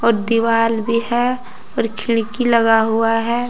दीवाल भी है और खिड़की लगा हुआ है।